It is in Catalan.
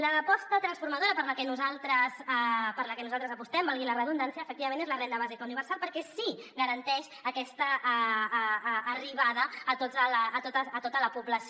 l’aposta transformadora per la que nosaltres apostem valgui la redundància efectivament és la renda bàsica universal perquè sí que garanteix aquesta arribada a tota la població